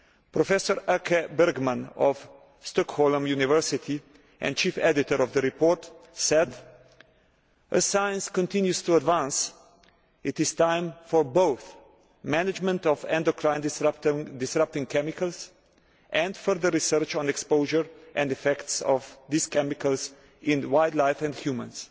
Professor Åke Bergman of Stockholm University and Chief Editor of the report said As science continues to advance, it is time for both management of endocrine disrupting chemicals and further research on exposure and effects of these chemicals in wildlife and humans'.